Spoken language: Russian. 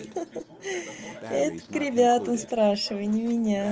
ха-ха это к ребятам спрашивай не меня